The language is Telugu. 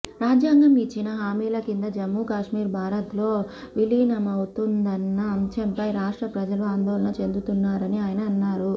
రాజ్యాంగం ఇచ్చిన హామీల కింద జమ్మూ కాశ్మీర్ భారత్లో విలీనమవుతుందన్న అంశంపై రాష్ట్ర ప్రజలు ఆందోళన చెందుతున్నారని ఆయన అన్నారు